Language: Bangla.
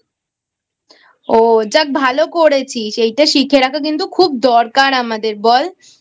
ও যাক ভালো করেছিস এটা শিখে রাখা কিন্তু খুব দরকার আমাদের বল?